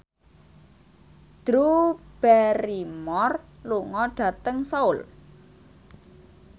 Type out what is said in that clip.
Drew Barrymore lunga dhateng Seoul